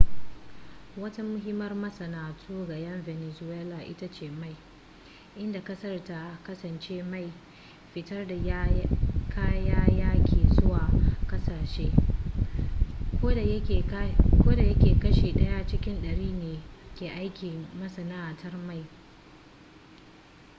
wata muhimmiyar masana'antu ga 'yan venezuela ita ce mai inda ƙasar ta kasance mai fitar da kayayyaki zuwa ƙasashe kodayake kashi ɗaya cikin ɗari ne ke aiki a masana'antar mai